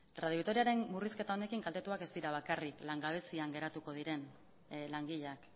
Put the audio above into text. radio vitoriaren murrizketa honekin kaltetuak ez dira bakarrik langabezian geratu diren langileak